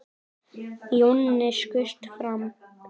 Jonni skaust fram.